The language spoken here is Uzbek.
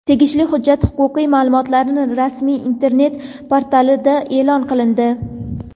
Tegishli hujjat huquqiy ma’lumotlarning rasmiy Internet portalida e’lon qilindi.